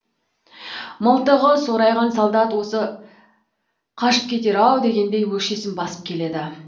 мылтығы сорайған солдат осы қашып кетер ау дегендей өкшесін басып келеді